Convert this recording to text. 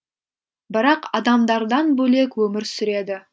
бірақ адамдардан бөлек өмір сүреді